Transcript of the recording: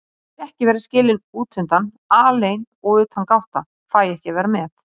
Ég vil ekki vera skilin útundan, alein og utangátta, fæ ekki að vera með.